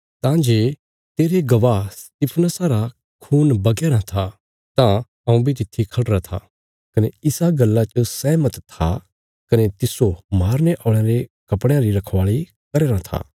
तां जे तेरे गवाह स्तिफनुसा रा खून बगया राँ था तां हऊँ बी तित्थी खढ़िरा था कने इसा गल्ला च सहमत था कने तिस्सो मारने औल़यां रे कपड़यां री रखवाली करया राँ था